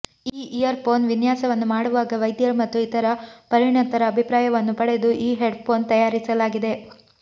ಈ earphone ವಿನ್ಯಾಸವನ್ನು ಮಾಡುವಾಗ ವೈದ್ಯರು ಮತ್ತು ಇತರ ಪರಿಣತರ ಅಭಿಪ್ರಾಯವನ್ನು ಪಡೆದು ಈ ಹೆಡ್ ಫೋನ್ ತಯಾರಿಸಲಾಗಿದೆ